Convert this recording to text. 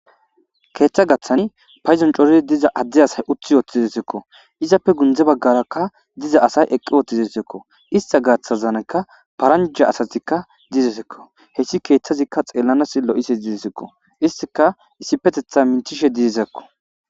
keeththa gaththani payzon corizi diza addeyasay uthi wotizesekko izappe gundze baggaraka diza asay eqqi wotizesekko ista gaththazanekka paranja asatikka dizesekko heyssi keeththazikka xeellanas lo'iza dizesekko istika isipetetha mintishe didesakko.